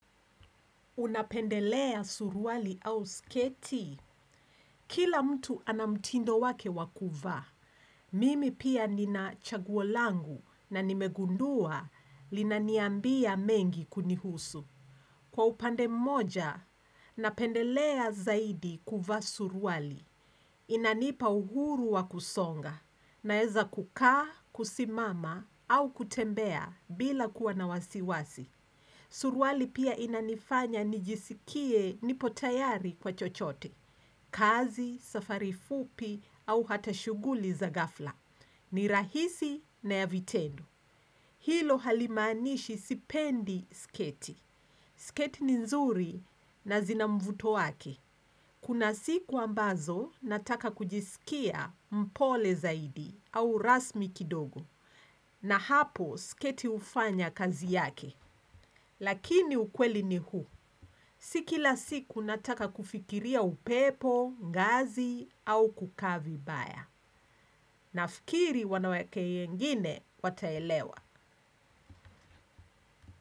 Unapendelea suruali au sketi. Kila mtu ana mtindo wake wa kuvaa. Mimi pia nina chaguo langu na nimegundua linaniambia mengi kunihusu. Kwa upande moja, napendelea zaidi kuvaa suruali. Inanipa uhuru wa kusonga. Naeza kukaa, kusimama au kutembea bila kuwa na wasiwasi. Suruali pia inanifanya nijisikie nipo tayari kwa chochote, kazi, safari fupi au hata shughuli za ghafla, ni rahisi na ya vitendo. Hilo halimaanishi sipendi sketi. Sketi ni nzuri na zina mvuto wake. Kuna siku ambazo nataka kujisikia mpole zaidi au rasmi kidogo na hapo sketi hufanya kazi yake. Lakini ukweli ni huu. Si kila siku nataka kufikiria upepo, ngazi au kukaa vibaya. Nafikiri wanawake wengine wataelewa.